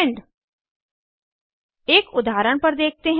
end एक उदाहरण पर देखते हैं